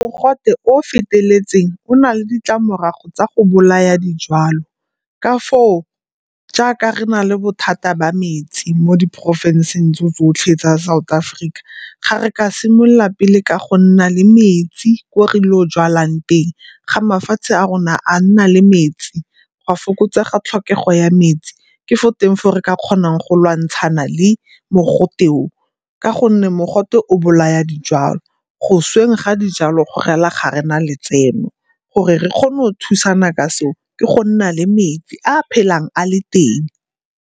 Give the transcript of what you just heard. Mogote o o feteletseng o na le ditlamorago tsa go bolaya dijalo. Ka foo jaaka re na le bothata ba metsi mo diporofenseng tse tsotlhe tsa South Africa. Ga re ka simolola pele ka go nna le metsi ko re ileng go jwalang teng ga mafatshe a rona a nna le metsi go a fokotsega tlhokego ya metsi. Ke fo teng foo re ka kgonang go lwantshana le mogote o ka gonne mogote o bolaya dijalo. Go sweng ga dijalo go re la ga rena letseno, gore re kgone o thusana ka seo ke go nna le metsi a a phelang a le teng.